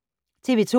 TV 2